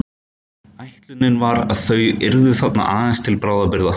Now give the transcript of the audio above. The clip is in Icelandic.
Ætlunin var að þau yrðu þarna aðeins til bráðabirgða.